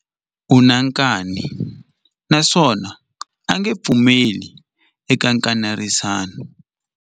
U na nkani naswona a nge pfumeli eka nkanerisano.